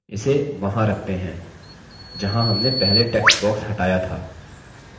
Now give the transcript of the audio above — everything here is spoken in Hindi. इसे वहां रखते हैं जहाँ हमने पहले text box हटाया था